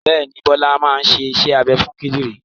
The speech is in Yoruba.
Bẹ́ẹ̀ ni, Bọ́lá máa ṣe iṣẹ́ abẹ fún kìdìrí.